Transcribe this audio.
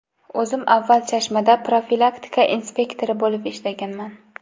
O‘zim avval Chashmada profilaktika inspektori bo‘lib ishlaganman.